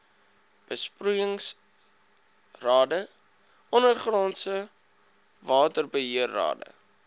besproeiingsrade ondergrondse waterbeheerrade